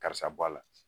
Karisa bɔ a la